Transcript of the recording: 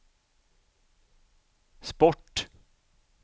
sport